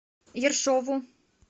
ершову